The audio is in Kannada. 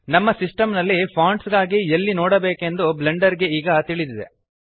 ನಮ್ಮ ಸಿಸ್ಟೆಮ್ ನಲ್ಲಿ ಫೊಂಟ್ಸ್ ಗಾಗಿ ಎಲ್ಲಿ ನೋಡಬೇಕೆಂದು ಬ್ಲೆಂಡರ್ ಗೆ ಈಗ ತಿಳಿದಿದೆ